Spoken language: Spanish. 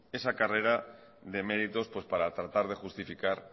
esa carrera de méritos para tratar de justificar